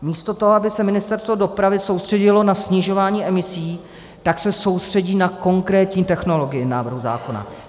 Místo toho, aby se Ministerstvo dopravy soustředilo na snižování emisí, tak se soustředí na konkrétní technologii návrhu zákona.